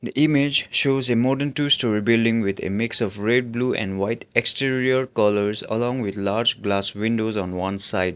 image shows a modern two storey building with a mix of red blue and white exterior colours along with large glass windows on one side.